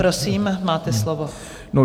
Prosím, máte slovo.